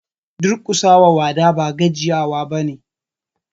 Duƙusa wa wada ba gajiya wa ba ne.